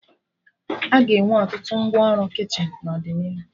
Aga enwe ọtụtụ ngwa ọrụ kichin n'ọdịnihu